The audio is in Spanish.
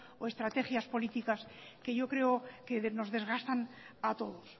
o estrategias políticas que yo creo que nos desgastan a todos